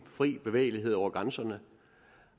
fri bevægelighed over grænserne